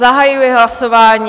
Zahajuji hlasování.